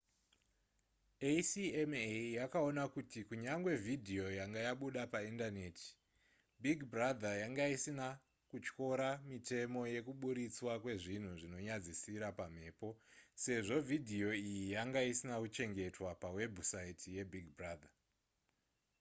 acma yakaona kuti kunyangwe vhidhiyo yanga yabuda paindaneti big brother yanga isina kutyora mitemo yekuburitswa kwezvinhu zvinonyadzisira pamhepo sezvo vhidhiyo iyi yanga isina kuchengetwa pawebhusaiti yebig brother